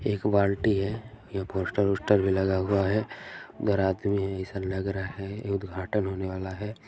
एक बाल्टी है यह पोस्टर ओस्टर भी लगा हुआ है इधर आदमी है ऐसा लग रहा है उद्घाटन होने वाला है।